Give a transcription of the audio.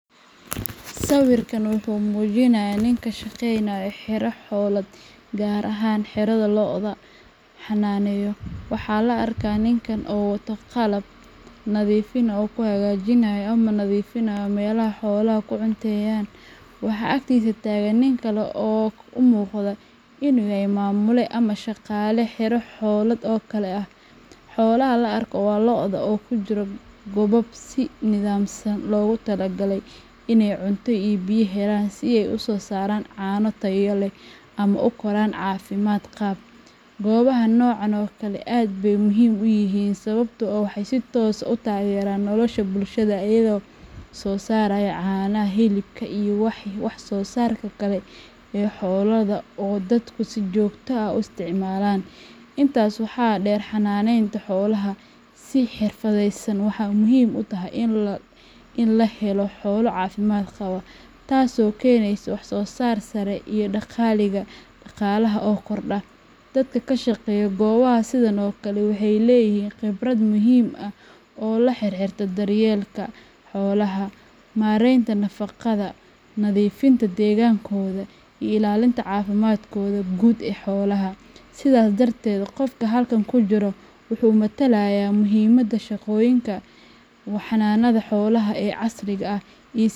Sawirkan wuxuu muujinayaa nin ka shaqeynaya xero xoolaad, gaar ahaan xero lo’da lagu xanaaneeyo. Waxaa la arkayaa ninkan oo wata qalab nadiifin ah oo uu ku hagaajinayo ama nadiifinayo meelaha xooluhu ku cunteeyaan. Waxaa agtiisa taagan nin kale oo u muuqda inuu yahay maamule ama shaqaale xero xoolaad oo kale ah. Xoolaha la arko waa lo’da oo ku jira goobo si nidaamsan loogu talagalay in ay cunto iyo biyo helaan si ay u soo saaraan caano tayo leh ama u koraan caafimaad qab. Goobaha noocan oo kale ah aad bay muhiim u yihiin sababtoo ah waxay si toos ah u taageeraan nolosha bulshada iyaga oo soo saara caanaha, hilibka iyo wax soo saarka kale ee xoolaha oo ay dadku si joogto ah u isticmaalaan. Intaas waxaa dheer, xanaaneynta xoolaha si xirfadaysan waxay muhiim u tahay in la helo xoolo caafimaad qaba, taasoo keenaysa wax soo saar sare iyo dakhliga dhaqaalaha oo kordha. Dadka ka shaqeeya goobaha sidan oo kale ah waxay leeyihiin khibrad muhiim ah oo la xiriirta daryeelka xoolaha, maaraynta nafaqada, nadiifinta deegaankooda, iyo ilaalinta caafimaadka guud ee xoolaha. Sidaas darteed, qofka halkan ku jira waxa uu metelayaa muhiimadda shaqooyinka xanaanada xoolaha ee casriga ah.